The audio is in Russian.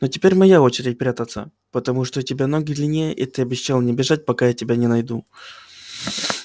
но теперь моя очередь прятаться потому что у тебя ноги длиннее и ты обещал не бежать пока я тебя не найду